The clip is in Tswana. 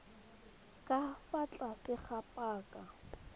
ka fa tlase ga paka